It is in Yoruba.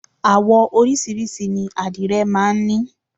Àwọ oríṣiríṣi ni àdìrẹ máa ń ní.